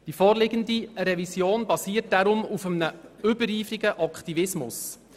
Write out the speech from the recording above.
Die nach so kurzer Zeit vorliegende Revision basiert daher auf einem übereifrigen Aktivismus.